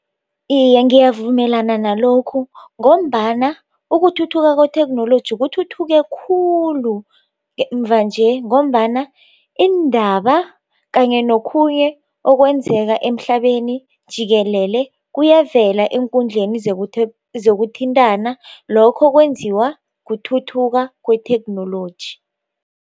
Iye, ngiyavumelana nalokhu ngombana ukuthuthuka kwethekhnoloji kuthuthuke khulu mvanje ngombana iindaba kanye nokhunye okwenzeka emhlabeni jikelele kuyavela eenkundleni zokuthintana lokho kwenziwa kuthuthuka kwethekhnoloji.